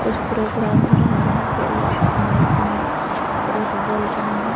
कुछ प्रोग्राम हो रहा है जहां पे एक माइक में पुरुष बोल रहे हैं।